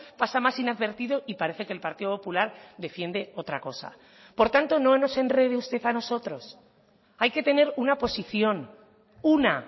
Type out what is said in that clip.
pasa más inadvertido y parece que el partido popular defiende otra cosa por tanto no nos enrede usted a nosotros hay que tener una posición una